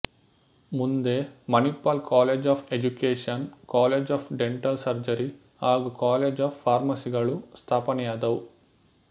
ಮುಂದೆ Manipal college of education college of dental surgery ಹಾಗೂ college of ಫಾರ್ಮಸಿಗಳು ಸ್ಥಾಪನೆಯಾದುವು